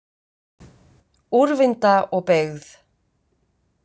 Úrvinda og beygð.